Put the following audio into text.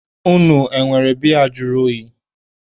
Unu enwere biya juru oyi?